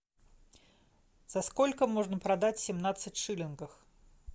за сколько можно продать семнадцать шиллингов